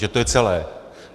Takže to je celé.